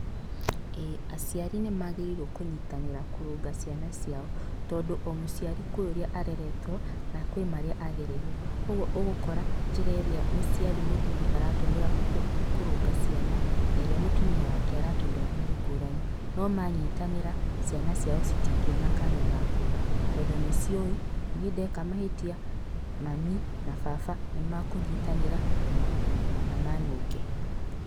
Ĩĩ, aciarĩ nĩ magĩrĩirwo kũnyitanĩra kũrũnga ciana ciao tondũ o mũciari kwĩ ũrĩa areretwo na kwĩ marĩa agereire. Kwoguo ũgũkora njĩra ĩrĩa mũciari mũthuri aratũmĩra kũrũnga ciana na ĩrĩa mũtumia wake aratũmĩra nĩ ngũrani, no manyitanĩra, ciana ciao citingiona kanya ga kũũra, tondũ nĩciũĩ niĩ ndeka mahĩtia, mami na baba nĩ makũnyitanĩra na manũnge.